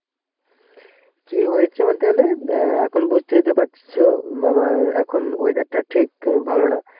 কি হয়েছে বলতে গেলে অ্যাঁ এখন বুঝতেই তো পারছ আমার এখন Weather টা ঠিক ভালো না.